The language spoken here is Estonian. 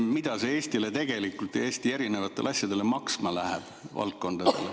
Kas on tehtud uuringuid, mida see Eesti erinevatele valdkondadele tegelikult maksma läheb?